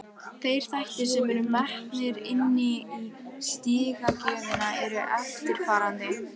Þeir þættir sem eru metnir inni í stigagjöfina eru eftirfarandi: